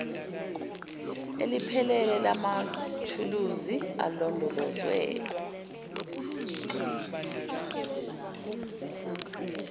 eliphelele lamathuluzi alondolozwe